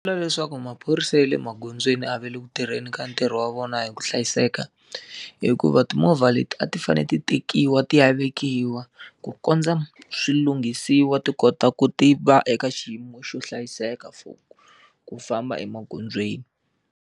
Leswaku maphorisa ya le magondzweni a va le ku tirheni ka ntirho wa vona hi ku hlayiseka hikuva timovha leti a ti fanele ti tekiwa ti ya vekiwa, ku kondza swi lunghisiwa ti kota ku ti va eka xiyimo xo hlayiseka for ku famba emagondzweni.